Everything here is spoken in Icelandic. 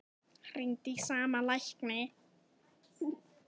Hringdi í sama lækni